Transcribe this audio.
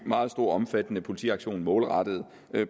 meget stor og omfattende politiaktion målrettet